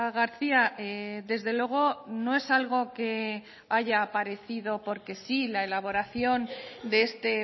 garcía desde luego no es algo que haya aparecido porque sí la elaboración de este